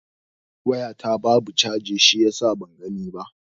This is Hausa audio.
Waya ta babu chargi shiyasa ban gani ba.